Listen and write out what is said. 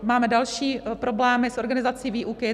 Máme další problémy s organizací výuky.